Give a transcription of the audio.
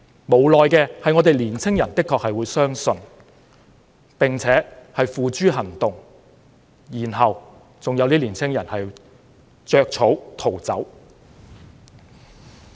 無奈的是年輕人的確會相信這些口號，並且付諸行動，結果有些年輕人落得要"着草"逃走。